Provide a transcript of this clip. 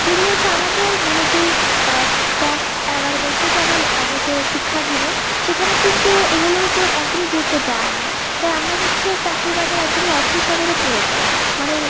যে গুলো হচ্ছে আমাদের মানে যেই আহ দশ এগারো বছর যেমন আহতে শিক্ষা দিবে সেখানে কিন্তু এগুলো কে একদমি গুরুত্ব দেওয়া হয় না তাই আমরা হচ্ছি চাকরির বাজারে একদমি অর্থ সাবালে পুড়ে দেয় মানে